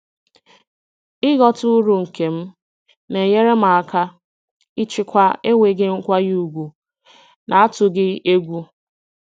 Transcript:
ịghọta uru nke m na-enyere m aka ịchịkwa enweghị nkwanye ùgwù n'atụghị egwu.